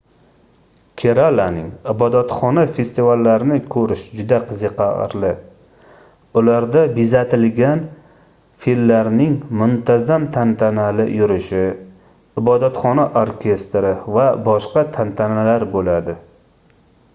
keralaning ibodatxona festivallarini koʻrish juda qiziqarli ularda bezatilgan fillarning muntazam tantanali yurishi ibodatxona orkestri va boshqa tantanalar boʻladi